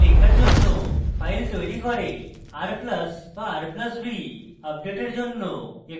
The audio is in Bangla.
r + b r + b = আপডেটের জন্য একটি file তৈরী করে